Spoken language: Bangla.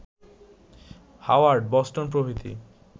হাওয়ার্ড, বস্টন প্রভৃতি